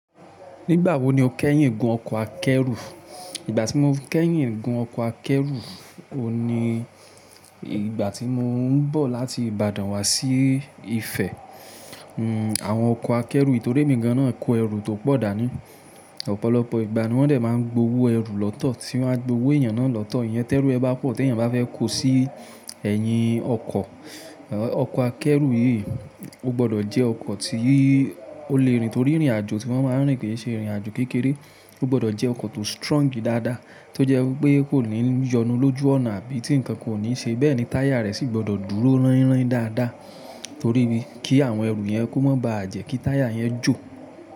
Nígbà wo ni o kẹ́yìn gun ọkọ̀ akẹ́rù? Ìgbà tí mo kẹ́yìn gun ọkọ̀ akẹ́rù oun ni ìgbà tí mò ń bọ̀ láti Ìbàdàn wá sí Ifẹ̀. Àwọn ọkọ̀ akẹ́rù yi, torí emi gan naa ko ẹrù tó pọ̀ dà ní, ọ̀pọ̀lọpọ̀ ìgbà ni wọ́n dẹ̀ máa ń gbowó ẹrù lọ́tọ̀, tí wọ́n á gbowó èèyàn náà lọ́tọ̀, ìyẹn tẹ́rù ẹ bá pọ̀ t'ẹ̀yàn bá fẹ́ kó sí ẹ̀yìn ọkọ̀. Ọkọ̀ akẹ́rù yìí ó gbọdọ̀ jẹ́ ọkọ̀ tí ó lè rìn torí ìrìnàjò tí wọ́n máa ń rìn kì í ṣe ìrìnàjò kékeré. Ó gbọdọ̀ jẹ́ ọkọ̀ tó strong dáadáa, tó jẹ́ wipé kò ní yọnu lójú ọ̀nà àbí tí ǹkankan ò ní ṣe bẹ́ẹ̀ ni táyà rẹ sì gbọdọ̀ dúró rainrain dáadáa toríi kí àwọn ẹrù yẹn kó má baà jẹ́ kí táyà yẹn jò.